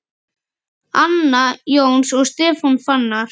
Anna Jóns og Stefán Fannar.